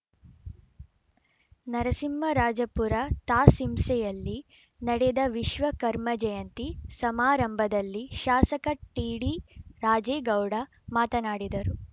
ನರಸಿಂಹರಾಜಪುರ ತಾ ಸಿಂಸೆಯಲ್ಲಿ ನಡೆದ ವಿಶ್ವ ಕರ್ಮ ಜಯಂತಿ ಸಮಾರಂಭದಲ್ಲಿ ಶಾಸಕ ಟಿಡಿರಾಜೇಗೌಡ ಮಾತನಾಡಿದರು